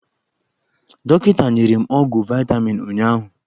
Dọkịta nyere m ọgwụ vaitamin ụnyụahụ.